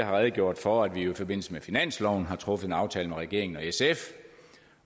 har redegjort for at vi jo i forbindelse med finansloven har truffet en aftale med regeringen og sf